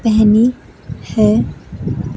पहनी है।